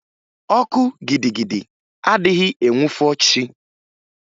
Ọkụ gidigidi adịghị enwufo chi.